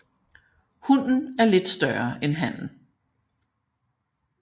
Hunnen er lidt større end hannen